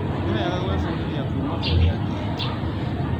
Nĩ wegagwĩbundithia kuuma kũrĩ angĩ